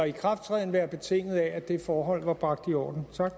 ikrafttrædelse være betinget af at det forhold var bragt i orden tak